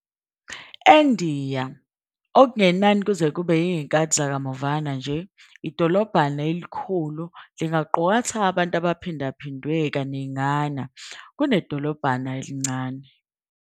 ENdiya okungenani kuze kube yizikhathi zakamuva nje, idolobhana elikhulu lingaqukatha abantu abaphindwe kaningana kunedolobha elincane.